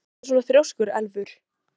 Af hverju ertu svona þrjóskur, Elfur?